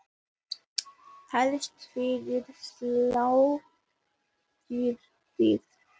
Helst fyrir sláturtíð.